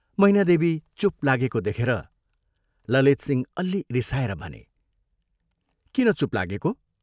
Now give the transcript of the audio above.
मैनादेवी चूप लागेको देखेर ललितसिंह अल्लि रिसाएर भने, "किन चूप लागेको?